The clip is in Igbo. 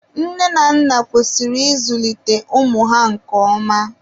nne na nna kwesịrị ịzulite ụmụ ha nke ọma.